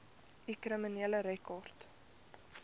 u kriminele rekord